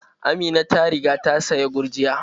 Amina ta riga ta saya gurjiya.